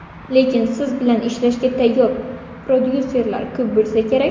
Lekin siz bilan ishlashga tayyor prodyuserlar ko‘p bo‘lsa kerak?